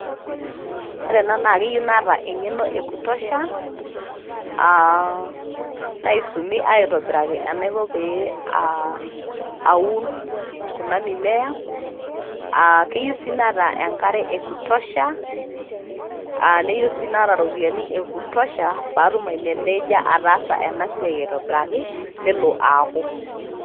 Ore enaa keyieu naata engeno ekutosha naisumi itobiraki enaiko pee aa aun kuna mimea. aa keyieu sii naata enkare ekutosha ,neyieu sii naata iropiyiani ekutosha patum aimeneja ataasa ena siai aitobiraki nelo aaku.